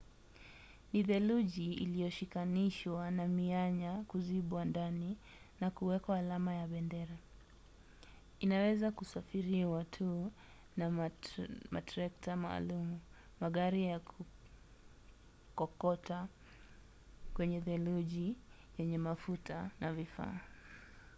ni theluji iliyoshikanishwa na mianya kuzibwa ndani na kuwekwa alama ya bendera. inaweza kusafiriwa tu na matrekta maalum magari ya kukokota kwenye theluji yenye mafuta na vifaa